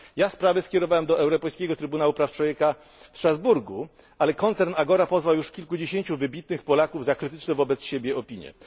Sprawę tę skierowałem do Europejskiego Trybunału Praw Człowieka w Strasburgu, ale koncern Agora pozwał już kilkudziesięciu wybitnych Polaków za wyrażanie krytycznych wobec niego opinii.